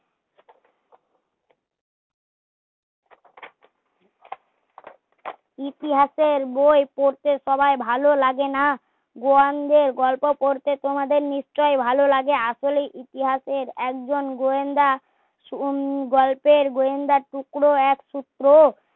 ইতিহাসের বই পড়তে সবার ভালো লাগে না গোয়ান দের গল্প পড়তে নিশ্চই ভালো লাগে আসলে ইতিহাসের একজন গোয়েন্দা হম গল্পের গোয়েন্দা টুকরো এক সূত্র